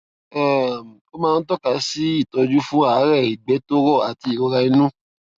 um ó máa ń tọka sí ìtọjú fún àárẹ ìgbé tó rọ àti ìrora inú